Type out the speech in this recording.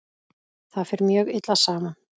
Það fer mjög illa saman.